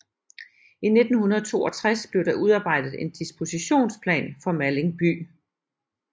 I 1962 blev der udarbejdet en dispositionsplan for Malling by